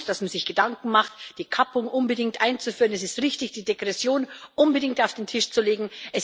Es ist gut, dass man sich Gedanken macht, die Kappung unbedingt einzuführen. Es ist richtig, die Degression unbedingt auf den Tisch zu legen.